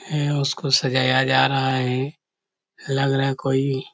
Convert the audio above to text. है उसको सजाया जा रहा है लग रहा है कोंई--